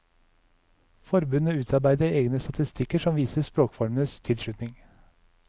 Forbundet utarbeider egne statistikker som viser språkformenes tilslutning.